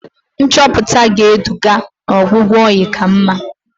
Nchọpụta ga-eduga n'ọgwụgwọ oyi ka mma.